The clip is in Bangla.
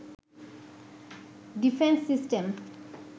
defence system